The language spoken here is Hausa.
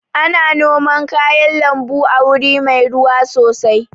Ana noman kayan lambu a wuri mai ruwa sosai